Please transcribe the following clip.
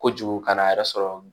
Kojugu ka n'a yɛrɛ sɔrɔ